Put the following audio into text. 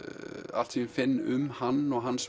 allt sem ég finn um hann og hans